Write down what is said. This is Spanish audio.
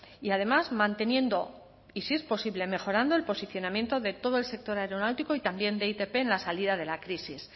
y además manteniendo y si es posible mejorando el posicionamiento de todo el sector aeronáutico y también de itp en la salida de la crisis